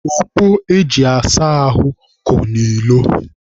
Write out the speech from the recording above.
Ogbo e ji asa ahụ ko n'ilo.